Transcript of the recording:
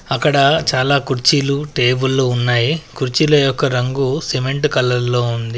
అక్కడ చాలా కుర్చీలు టేబుళ్ళు ఉన్నాయి. కుర్చీల యొక్క రంగు సిమెంటు కలర్లో ఉంది.